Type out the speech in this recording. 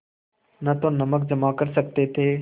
न तो नमक जमा कर सकते थे